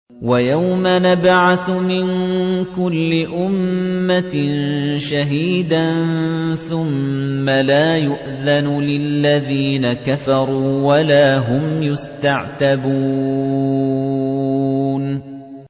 وَيَوْمَ نَبْعَثُ مِن كُلِّ أُمَّةٍ شَهِيدًا ثُمَّ لَا يُؤْذَنُ لِلَّذِينَ كَفَرُوا وَلَا هُمْ يُسْتَعْتَبُونَ